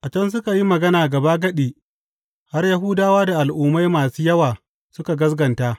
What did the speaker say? A can suka yi magana gabagadi har Yahudawa da Al’ummai masu yawa suka gaskata.